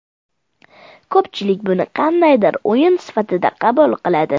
Ko‘pchilik buni qandaydir o‘yin sifatida qabul qiladi.